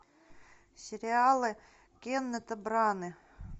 сериалы кеннета браны